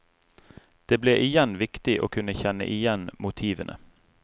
Det ble igjen viktig å kunne kjenne igjen motivene.